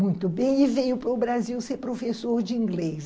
Muito bem, e veio para o Brasil ser professor de inglês.